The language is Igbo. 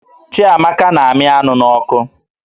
Chiamaka na-amị anụ n'ọkụ